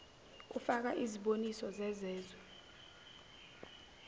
kufaka iziboniso zezezwe